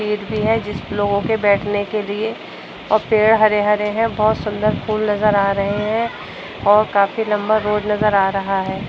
Seat भी है जिसपे लोगों के बैठने के लिए और पेड़ हरे-हरे हैं। बोहोत सुंदर फूल नज़र आ रहे हैं और काफी लंबा रोड नज़र आ रहा है।